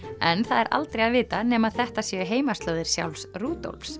en það er aldrei að vita nema þetta séu heimaslóðir sjálfs